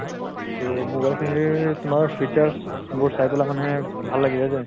তʼ mobile তোমাৰ features বোৰ চাই পালে মানে ভাল লাগিলে দে।